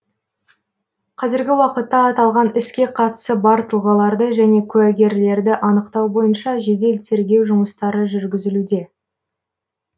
қазіргі уақытта аталған іске қатысы бар тұлғаларды және куәгерлерді анықтау бойынша жедел тергеу жұмыстары жүргізілуде